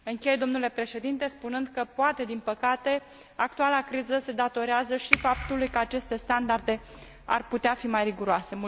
Închei, domnule președinte, spunând că, poate, din păcate, actuala criză se datorează și faptului că aceste standarde ar putea fi mai riguroase.